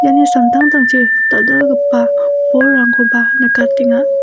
iani samtangtangchi dal·dalgipa bolrangkoba nikatenga.